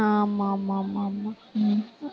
ஆமா, ஆமா, ஆமா, ஆமா உம்